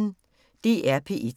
DR P1